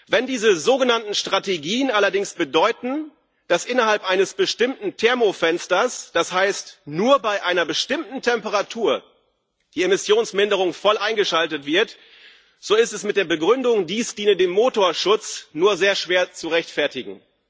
Wenn diese sogenannten Strategien allerdings bedeuten, dass innerhalb eines bestimmten Thermofensters das heißt, nur bei einer bestimmten Temperatur die Emissionsminderung voll eingeschaltet wird, so ist das mit der Begründung, dies diene dem Motorschutz, nur sehr schwer zu rechtfertigen.